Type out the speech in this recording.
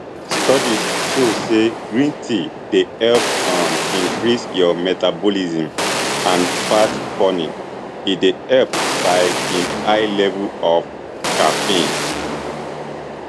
studies show say green tea dey help um increase your metabolism and fat burning e dey helped by im high levels of caffeine